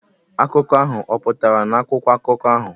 Akụkọ ahụ ọ̀ pụtara n'akwụkwọ akụkọ ahụ?